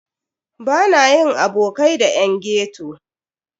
Bana yin abokai da yan ghetto.